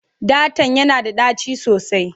Ɗatan yana da ɗaci sosai.